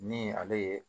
Ni ale ye